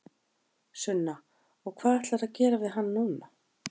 Sunna: Og hvað ætlarðu að gera við hann núna?